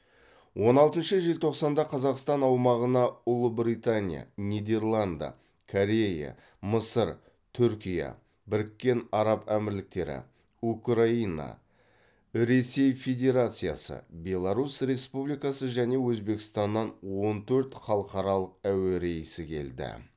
он алтыншы желтоқсанда қазақстан аумағына ұлыбритания нидерланда корея мысыр түркия біріккен араб әмірліктері украина ресей федерациясы беларусь республикасы және өзбекстаннан он төрт халықаралық әуе рейсі келді